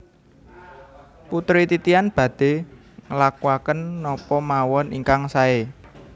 Putri Titian badhe nglakuaken napa mawon ingkang sae